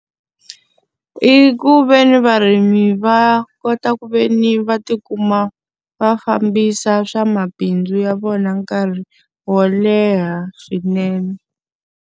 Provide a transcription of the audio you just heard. I ku ve ni varimi va kota ku ve ni va ti kuma va fambisa swa mabindzu ya vona nkarhi wo leha swinene.